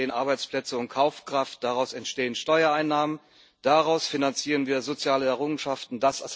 Daraus entstehen Arbeitsplätze und Kaufkraft, daraus entstehen Steuereinnahmen, daraus finanzieren wir soziale Errungenschaften.